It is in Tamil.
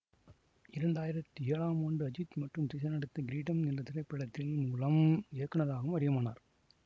இரண்டாயிரத்தி ஏழாம் ஆண்டு அஜித் மற்றும் திரிஷா நடித்த கிரீடம் என்ற திரைப்படத்தில் மூலம் இயக்குநராகவும் அறிமுகமானார்